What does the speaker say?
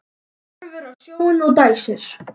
Horfir út á sjóinn og dæsir.